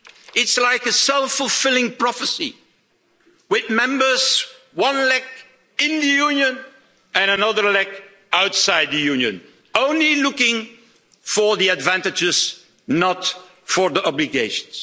It's like a self fulfilling prophecy, with members one leg in the Union and another leg outside the Union only looking for the advantages, not for the obligations.